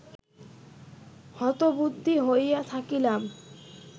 হতবুদ্ধি হইয়া থাকিলাম